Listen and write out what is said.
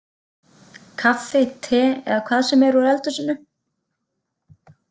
Kaffi, te eða hvað sem er úr eldhúsinu.